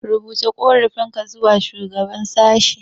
Rubuta ƙorafinka zuwa shugaban sashe.